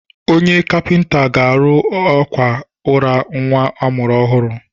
Onye kapịnta ga-arụ àkwà ụra nwa a mụrụ ọhụrụ.